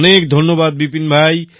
অনেক ধন্যবাদ বিপিন ভাই